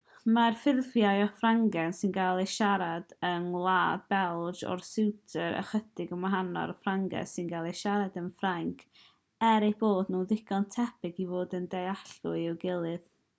mae'r ffurfiau o ffrangeg sy'n cael eu siarad yng ngwlad belg a'r swistir ychydig yn wahanol i'r ffrangeg sy'n cael ei siarad yn ffrainc er eu bod nhw'n ddigon tebyg i fod yn ddealladwy i'w gilydd